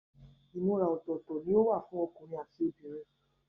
Ìmúra ọ̀tọ̀ọ̀tọ̀ ni o wà fún okùnrin ati obìnrin.